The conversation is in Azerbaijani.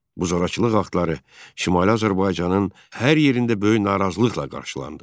Bu zorakılıq aktları Şimali Azərbaycanın hər yerində böyük narazılıqla qarşılandı.